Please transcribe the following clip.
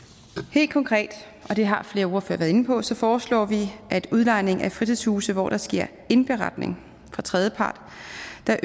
helt konkret og det har flere ordførere være inde på så foreslår vi at ved udlejning af fritidshuse hvor der sker indberetning fra tredjepart